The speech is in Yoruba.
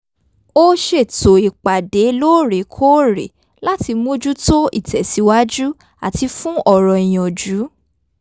ó ṣètò ìpàdé lóórèkóórè láti mójútó ìtẹ̀síwájú àti fún ọ̀rọ̀ ìyànjú